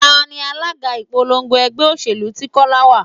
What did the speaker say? Tani alága ìpolongo ẹgbẹ́ òṣèlú tí Kọ́lá wá?